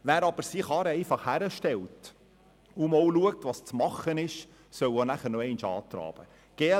Wer aber seine Karre einfach hinstellt und zusieht, was beanstandet wird, soll auch noch einmal antraben müssen.